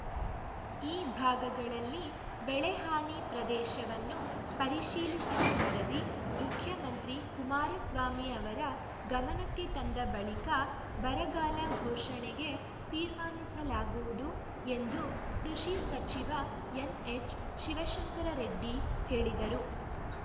ಈ ಭಾಗಗಳಲ್ಲಿ ಬೆಳೆ ಹಾನಿ ಪ್ರದೇಶವನ್ನು ಪರಿಶೀಲಿಸಿದ ವರದಿ ಮುಖ್ಯಮಂತ್ರಿ ಕುಮಾರಸ್ವಾಮಿ ಅವರ ಗಮನಕ್ಕೆ ತಂದ ಬಳಿಕ ಬರಗಾಲ ಘೋಷಣೆಗೆ ತೀರ್ಮಾನಿಸಲಾಗುವುದು ಎಂದು ಕೃಷಿ ಸಚಿವ ಎನ್‌ಎಚ್‌ ಶಿವಶಂಕರರೆಡ್ಡಿ ಹೇಳಿದರು